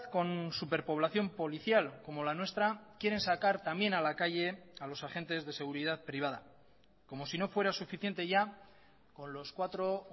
con superpoblación policial como la nuestra quieren sacar también a la calle a los agentes de seguridad privada como si no fuera suficiente ya con los cuatro